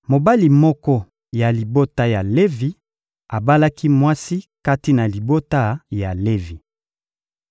Mobali moko ya libota ya Levi abalaki mwasi kati na libota ya Levi.